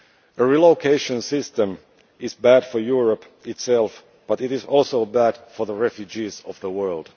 A relocation system is bad for Europe itself, but it is also bad for the refugees of the world.